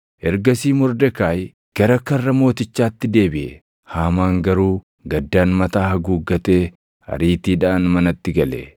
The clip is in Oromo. Ergasii Mordekaayi gara karra mootichaatti deebiʼe. Haamaan garuu gaddaan mataa haguuggatee ariitiidhaan manatti gale;